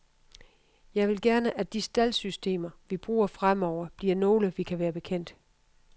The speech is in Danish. Jeg vil gerne at de staldsystemer, vi bruger fremover, bliver nogle, vi kan være bekendt.